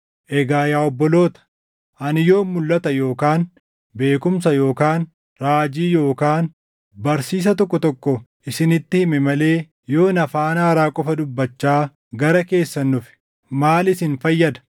Egaa yaa obboloota, ani yoon mulʼata yookaan beekumsa yookaan raajii yookaan barsiisa tokko tokko isinitti hime malee yoon afaan haaraa qofa dubbachaa gara keessan dhufe maal isin fayyada?